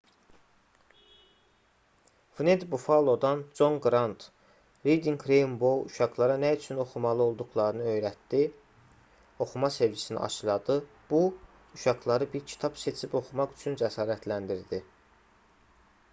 wned buffalo-dan reading rainbow serialının əsas kanalından con qrant: 'reading rainbow uşaqlara nə üçün oxumalı olduqlarını öyrətdi... oxuma sevgisi aşıladı bu [şou] uşaqları bir kitab seçib oxumaq üçün cəsarətləndirdi